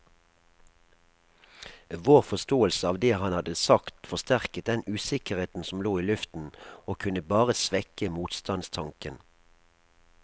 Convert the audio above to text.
Vår forståelse av det han hadde sagt forsterket den usikkerheten som lå i luften, og kunne bare svekke motstandstanken.